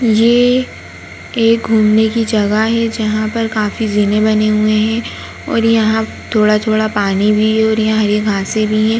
ये एक घूमने की जगह है जहाँ पर काफी झीले बनी हुई हैं और यहाँ थोड़ा-थोड़ा पानी भी है और यहाँ घासे भी है।